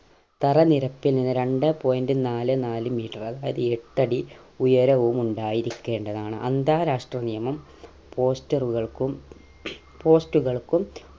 തറനിരപ്പിൽ നിന്ന് രണ്ടേ point നാല് നാല് meter അതായത് അടി എട്ടടി ഉയരവും ഉണ്ടായിരിക്കേണ്ടതാണ് അന്താരാഷ്ട്ര നിയമം poster റുകൾക്കും post കൾക്കും